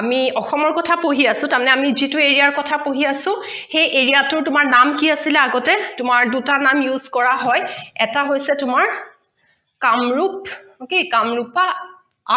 আমি অসমৰ কথা পঢ়ি আছো তাৰ মানে আমি যিটো area কথা পঢ়ি আছো সেই area টোৰ তোমাৰ নাম কি আছিলে আগতে তোমাৰ দুটা নাম use কৰা হয়, এটা হৈছে তোমাৰ কামৰুপ ok কামৰুপা